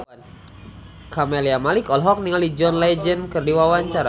Camelia Malik olohok ningali John Legend keur diwawancara